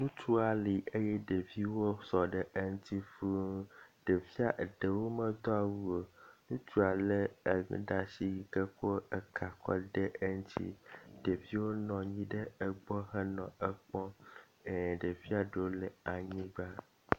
ŋutua li eye ɖeviwo sɔ ɖe eŋti fūu ɖevia eɖewo medó awu o wutsua le e ɖasi yike kɔ eka kɔ de me ɖevio nɔnyi ɖe gbɔ henɔ ekpɔm ɖevia ɖewo nɔ anyigbã